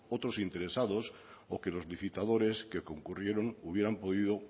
otros interesados o que los licitadores que concurrieron hubieron podido